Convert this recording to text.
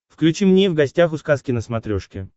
включи мне в гостях у сказки на смотрешке